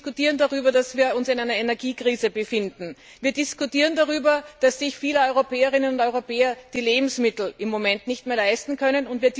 Wir diskutieren darüber, dass wir uns in einer Energiekrise befinden. Wir diskutieren darüber, dass sich viele Europäerinnen und Europäer die Lebensmittel im Moment nicht mehr leisten können.